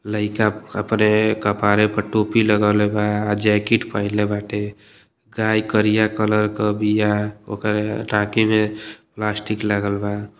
लईका अप अपने कपारे पर टोपी लगवले बा। जैकिट पहिरले बाटे। गाय करिया कलर के बिया। ओकरे में प्लास्टिक लागल बा।